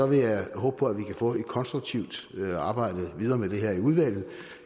vil jeg håbe på at vi kan få et konstruktivt arbejde videre med det her i udvalget